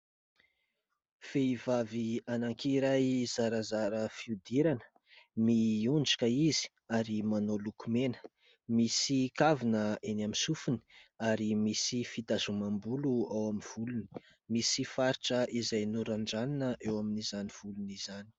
Vehivavy anankiray zarazara fihodirana miondrika izy ary manao lokomena. Misy kavina eny amin'ny sofiny ary misy fitazomam-bolo ao amin'ny volony ; misy faritra izay norandranina eo amin'izany volony izany.